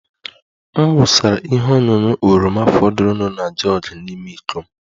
M wụsara ihe ọṅụṅụ oroma fọdụrụnụ na jug n'ime iko m